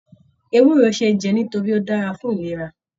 Ewúro ṣeé jẹ nítorí Ó dára fún ìlera.